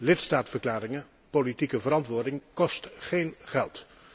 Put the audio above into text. Lidstaatverklaringen en politieke verantwoording kosten geen geld.